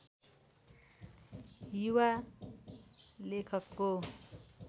युवा लेखकको